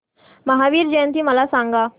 महावीर जयंती मला सांगा